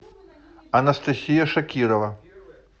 анастасия шакирова